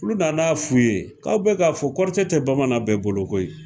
Olu na n'a f'u ye k'aw bɛ k'a fɔ kɔrɔtɛ tɛ bamanan bɛɛ bolo koyi